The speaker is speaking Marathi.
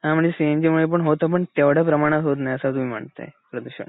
हं म्हणजे सीएनजी मूलपण होत पण तेव्हड्या प्रमाणात होत नाही असं तुम्ही म्हणताय, प्रदूषण.